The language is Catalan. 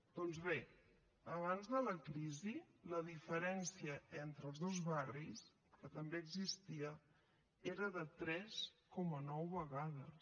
doncs bé abans de la crisi la diferència entre els dos barris que també existia era de tres coma nou vegades